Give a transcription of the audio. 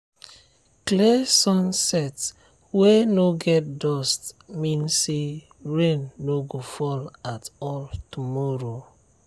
clear sunset wey no get dust mean say rain no go fall at all tomorrow.